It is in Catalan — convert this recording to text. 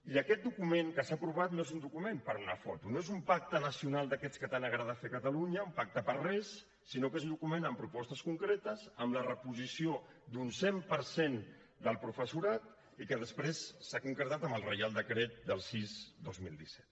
i aquest document que s’ha provat no és un document per a una foto no és un pacte nacional d’aquests que tant agrada fer a catalunya un pacte per a res sinó que és un document amb propostes concretes amb la reposició d’un cent per cent del professorat i que després s’ha concretat amb el reial decret sis dos mil disset